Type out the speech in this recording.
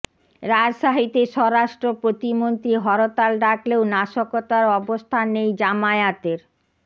রাজশাহীতে স্বরাষ্ট্র প্রতিমন্ত্রী হরতাল ডাকলেও নাশকতার অবস্থান নেই জামায়াতের